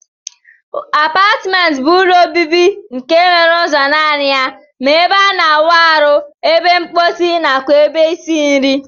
Apatment bu ụlọ obibi nke nwere ụzo nani ya ma ebe ana awụ arụ, ebe nkposi nakwa ebe isi nri.